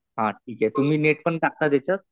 हा ठीक आहे. तुम्ही नेट पण टाकता त्याच्यात?